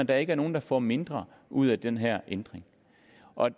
der ikke er nogen der får mindre ud af den her ændring